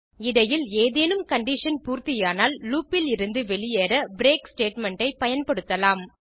இடையில் ஏதேனும் கண்டிஷன் பூர்த்தியானால் லூப் இலிருந்து வெளியேற பிரேக் ஸ்டேட்மெண்ட் ஐ பயன்படுத்தலாம்